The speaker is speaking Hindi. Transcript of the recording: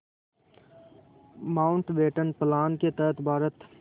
माउंटबेटन प्लान के तहत भारत